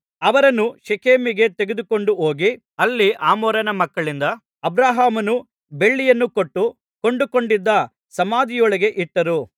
ಅವರನ್ನು ಶೇಕೆಮಿಗೆ ತೆಗೆದುಕೊಂಡು ಹೋಗಿ ಅಲ್ಲಿ ಹಮೋರನ ಮಕ್ಕಳಿಂದ ಅಬ್ರಹಾಮನು ಬೆಳ್ಳಿಯನ್ನು ಕೊಟ್ಟು ಕೊಂಡುಕೊಂಡಿದ್ದ ಸಮಾಧಿಯೊಳಗೆ ಇಟ್ಟರು